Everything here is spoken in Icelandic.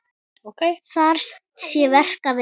Þar sé verk að vinna.